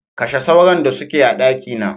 Kashe sauron da suke a dakina.